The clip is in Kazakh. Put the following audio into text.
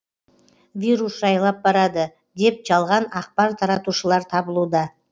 вирус жайлап барады деп жалған ақпар таратушылар табылуда